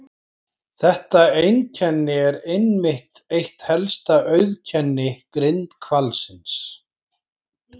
Þetta einkenni er einmitt eitt helsta auðkenni grindhvalsins.